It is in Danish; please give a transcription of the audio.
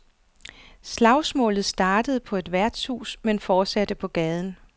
Slagsmålet startede på et værtshus, men fortsatte på gaden.